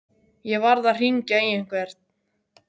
Ég varð að hringja í einhvern.